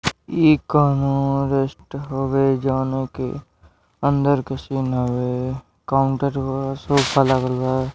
ई कोनों रेस्ट हवे जवनों के अंदर के सीन हवे काउंटर बा सोफ़ा लागल बा।--